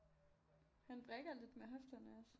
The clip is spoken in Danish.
Han vrikker lidt med hofterne også